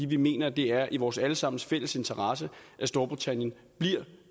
vi mener at det er i vores alle sammens fælles interesse at storbritannien bliver